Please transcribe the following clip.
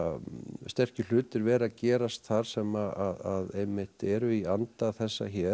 sterkir hlutir vera að gerast þar sem einmitt eru í anda þessa hér